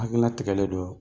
Hakilina tigɛlen don wa